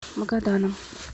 магаданом